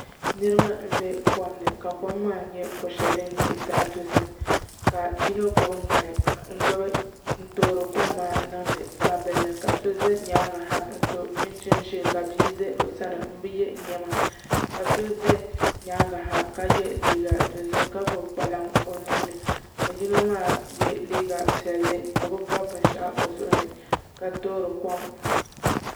Niraba n bɛ kom ni ka kom maa nyɛ ko shɛli din nyɛ zaɣ dozim ka yino gbubi ŋmani n toori kom maa niŋdi gbambili ni ka so ʒɛ nyaangi ha n so chinchin ʒiɛ ka bia ʒɛ o sani n bi yɛ liiga ka so ʒɛ nyaangi ka ka yɛ liiga dozim ka gbubi kpalaŋ o nuuni ka yino maa yɛ liiga piɛlli o bi gbubi binshaɣu o nuuni ka toori kom